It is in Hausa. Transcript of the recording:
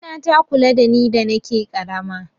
Mama na ta kula da ni da nake ƙarama